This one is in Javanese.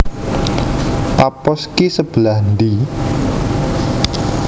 Paphos ki sebelah ndi